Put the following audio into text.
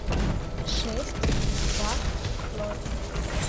шесть два ноль